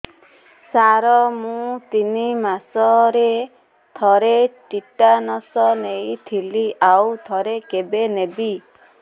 ସାର ମୁଁ ତିନି ମାସରେ ଥରେ ଟିଟାନସ ନେଇଥିଲି ଆଉ ଥରେ କେବେ ନେବି